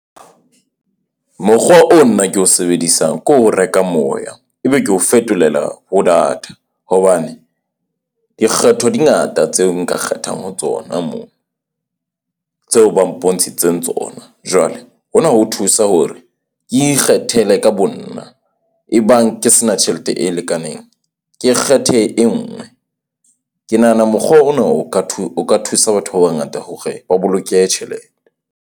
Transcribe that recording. Mokgwa oo nna ke o sebedisang ke ho reka moya. Ebe ko fetolela ho data hobane dikgetho di ngata tseo nka kgethang ho tsona moo, tseo ba mpontshitseng tsona. Jwale hona ho thusa hore ke ikgethele ka bo nna ebang ke sena tjhelete e lekaneng. Ke kgethe e nngwe. Ke nahana mokgwa ona o ka o ka thusa batho ba bangata hore ba boloke tjhelete.